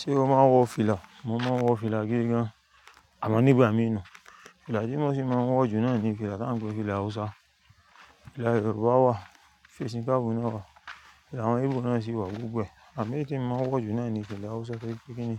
Ṣé o máa ń wọ fìlà? Mo máa ń wọ fìlà gígàn, àmọ́ nígbà mi ni. Fìlà tí mo ti máa ń wọ jù náà ni fìlà tí wọ́n ń pe ni fìlà Hausa. Fìlà Yorùbá wà, fèsì káàbù náà wà, àwọn íbò náà sì wà gbogbo e, àmọ́ èyí tí mo máa ń wọ jù náà ni fìlà Hausa torí pé kíini